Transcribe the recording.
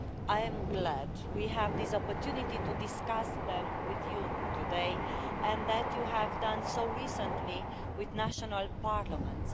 I'm glad we have this opportunity to discuss them with you today, and that you have also discussed them recently with national parliaments.